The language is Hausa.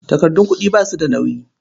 Takardun kuɗi ba su da nauyi.